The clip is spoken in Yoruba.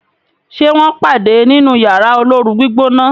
ṣe wón pade nínú Yàrá olóoru-gbígbóná?